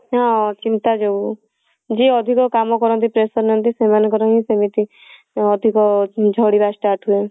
ହଁ ଚିନ୍ତା ଯୋଗୁ ଯିଏ ଅଧିକ କାମ କରନ୍ତି pressure ନିଅନ୍ତି ସେମାନଙ୍କ ର ହିଁ ସେମିତି ଅଧିକ ଝଡିବା start ହୁଏ